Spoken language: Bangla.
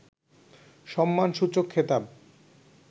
সম্মানসূচক খেতাব